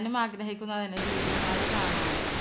ഞാൻ ആഗ്രഹിക്കുന്നത് ലുലു mall കാണാനാണ്